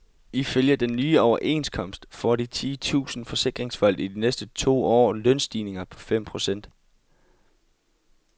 Ifølge den nye overenskomst får de ti tusind forsikringsfolk i de næste to år lønstigninger på fem procent.